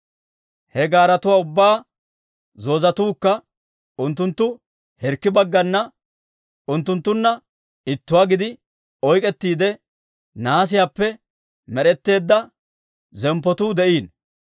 He gaaretuwaa ubbaa zoozetookka unttunttu hirkki bagganna hirkkibagganna unttunttunna ittuwaa gidi oyk'k'ettiide, nahaasiyaappe med'etteedda zemppotuu de'iino.